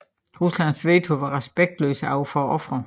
Ruslands veto var respektløst overfor ofrene